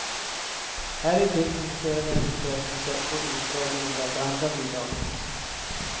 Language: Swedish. Här intill publicerar vi hennes berättelse och utdrag ur några av de andra bidragen.